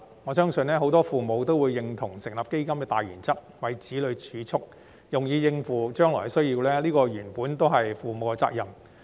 我相信很多父母都會認同成立基金的大原則，就是為子女儲蓄以應付將來的需要，而這原本亦是父母的責任。